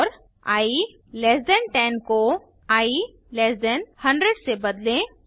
और i less than 10 को i less than 100 से बदलें